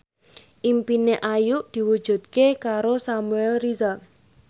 impine Ayu diwujudke karo Samuel Rizal